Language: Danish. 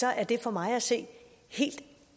er det for mig at se helt